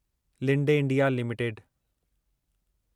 Linde India limited